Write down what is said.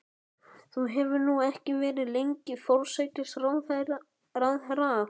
Þú hefur nú ekki verið lengi forsætisráðherra?